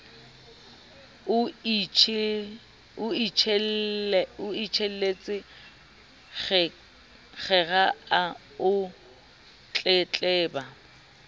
o itjelletse kgera o tletleba